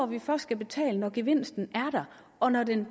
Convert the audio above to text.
vi først skal betale for når gevinsten er der og når den